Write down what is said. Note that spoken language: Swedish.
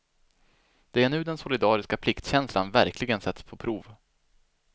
Det är nu den solidariska pliktkänslan verkligen sätts på prov.